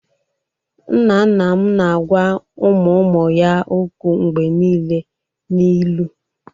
Nna nna m na-agwa ụmụ ụmụ ya okwu mgbe niile n'ilu.